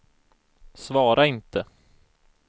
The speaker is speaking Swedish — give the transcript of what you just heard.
svara inte